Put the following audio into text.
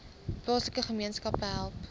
plaaslike gemeenskappe help